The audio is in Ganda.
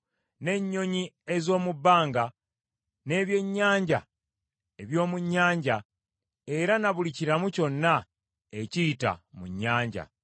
n’ennyonyi ez’omu bbanga, n’ebyennyanja eby’omu nnyanja; era na buli kiramu kyonna ekiyita mu nnyanja.